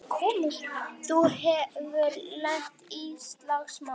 Þú hefur lent í slagsmálum!